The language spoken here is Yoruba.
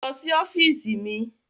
Lọ sí ọ́fíìsì mi.